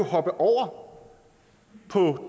hoppe over på